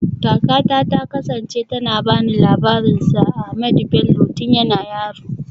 Kakata ta kasance tana ba ni labarin Sir Ahmadu Bello tun yana yaro